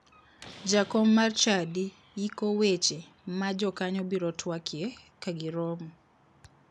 Jakom mar chadi yiko weche ma jokanyo biro twakie kagiromo